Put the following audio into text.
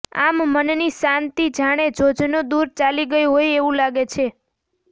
આમ મનની શાંતિ જાણે જોજનો દૂર ચાલી ગઈ હોય એવું લાગે છે